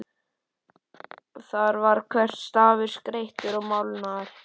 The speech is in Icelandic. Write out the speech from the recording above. Þar var hver stafur skreyttur og málaður.